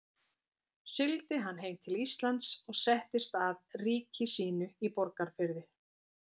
Sigldi hann heim til Íslands og settist að ríki sínu í Borgarfirði.